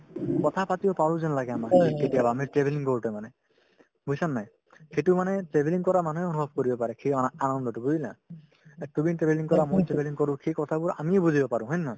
কথা পাতিব পাৰো যেন লাগে আমাৰ কেতিয়াবা আমি travelling কৰোতে মানে বুজিছানে নাই সেইটো মানে travelling কৰা মানুহে অনুভৱ কৰিব পাৰে সেই অনা~ আনন্দতো বুজিলা এ তুমি travelling কৰা মই travelling কৰো সেই কথাবোৰ আমিয়ে বুজিব পাৰো হয় নে নহয়